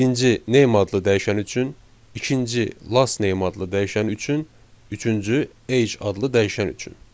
Birinci name adlı dəyişən üçün, ikinci last name adlı dəyişən üçün, üçüncü age adlı dəyişən üçün.